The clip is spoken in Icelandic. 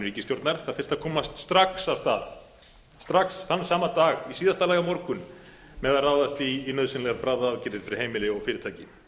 ríkisstjórnar það þyrfti að komast strax af stað strax þann sama dag í síðasta lagi á morgun með að ráðast í nauðsynlegar bráðaaðgerðir fyrir heimili og fyrirtæki